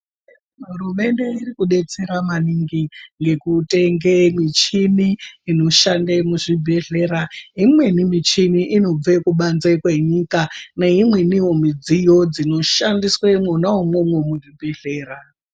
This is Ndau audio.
Hurumende iri kudetsera maningi nekutenge michini inoshande muzvibhedhlera imweni michini inobva kubanze kwenyika neimweni midziyo dzinoshandiswa mwona imomo muzvibhedhlera.